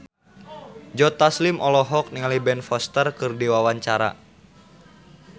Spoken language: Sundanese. Joe Taslim olohok ningali Ben Foster keur diwawancara